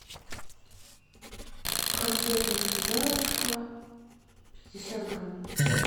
конфеты сударушка пятьдесят грамм